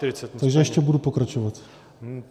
Takže ještě budu pokračovat.